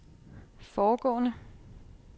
foregående